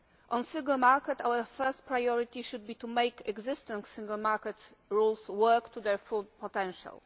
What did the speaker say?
On the Single Market our first priority should be to make existing Single Market rules work to their full potential.